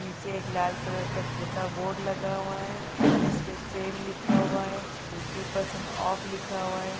पीछे एक लाल कलर का एक छोटा बोर्ड लगा हुआ है जिसपे सेल लिखा हुआ है फिफ्टी परसेंट ऑफ़ लिखा हुआ है ।।